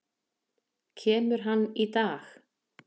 Kemur hann í dag?